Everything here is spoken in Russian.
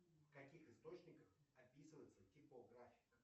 в каких источниках описывается типографик